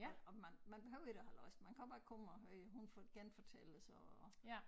Og og man man behøver ikke at have læst man kan også bare komme og høre hun genfortæller så og